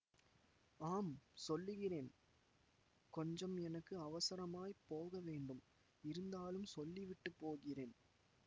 ஆம் சொல்லுகிறேன் கொஞ்சம் எனக்கு அவசரமாய்ப் போக வேண்டும் இருந்தாலும் சொல்லிவிட்டு போகிறேன்